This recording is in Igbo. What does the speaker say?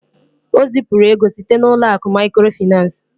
O zipụrụ ego site n'ụlọ akụ maịkrofaịnans.